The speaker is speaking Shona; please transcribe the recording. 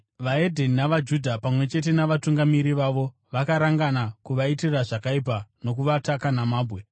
VeDzimwe Ndudzi navaJudha, pamwe chete navatungamiri vavo vakarangana kuvaitira zvakaipa nokuvataka namabwe.